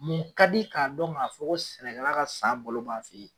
Mun ka di k'a dɔn k'a fɔ ko sɛnɛkɛla ka san balo b'a fe ye?